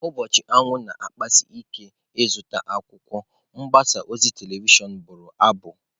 Ụbọchị anwụ na-achasi ike ịzụta akwụkwọ"" mgbasa ozi telivishọn bụrụ abụ."